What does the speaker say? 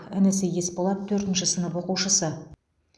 інісі есболат төртінші сынып оқушысы